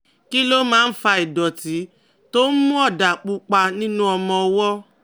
Kí ló máa ń fa ìdọ̀tí tó ń mú ọ̀dà pupa nínú ọmọ ọwọ́?